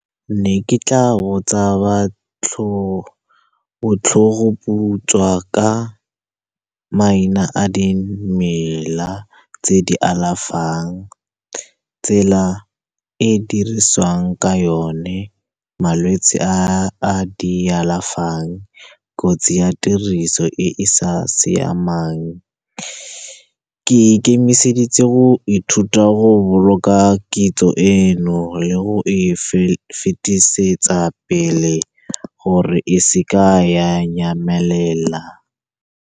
Ke ne ke tla botsa botlhogoputswa ka maina a dimela tse di alafang, tsela e diriswang ka yone, malwetse a a di alafang, kotsi ya tiriso e e sa siamang. Ke ikemiseditse go ithuta, go boloka kitso eno le go e fetisetsa pele, gore e seka ya nyamelela.